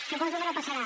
suposo que no passarà